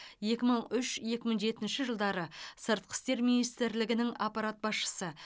екі мың үш екі мың жетінші жылдары сыртқы істер министрлігінің аппарат басшысы